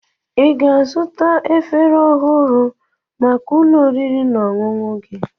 Ị ga-azụta efere ọhụrụ maka ụlọ oriri na ọṅụṅụ gị?